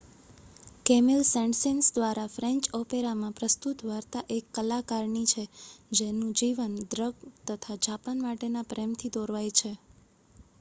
Camille Saint Saens દ્વારા French ઓપેરામાં પ્રસ્તુત વાર્તા એક કલાકારની છે જેનું જીવન ડ્રગ તથા જાપાન માટેના પ્રેમથી દોરવાય છે